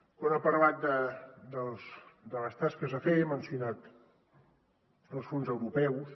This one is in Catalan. quan ha parlat de les tasques a fer ha mencionat els fons europeus